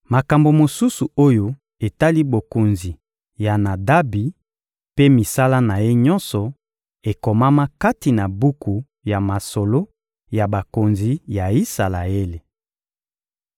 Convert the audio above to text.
Makambo mosusu oyo etali bokonzi ya Nadabi mpe misala na ye nyonso, ekomama kati na buku ya masolo ya bakonzi ya Isalaele.